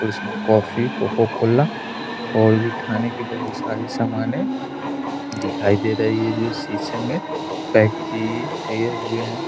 और इसमें coffee Coca Cola और भी खाने की बहुत सारी सामान है दिखाई दे रही है जो शीशे में पैक किये हुए हैं।